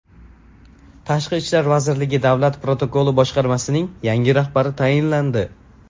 Tashqi ishlar vazirligi Davlat protokoli boshqarmasining yangi rahbari tayinlandi.